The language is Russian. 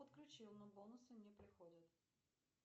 подключил но бонусы не приходят